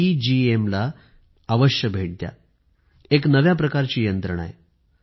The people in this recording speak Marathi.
ई एम ला भेट द्या एक नव्या प्रकारची व्यवस्था आहे